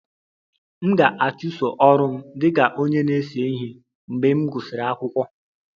M ga-achụso ọrụ m dị ka onye na-ese ihe mgbe m gụsịrị akwụkwọ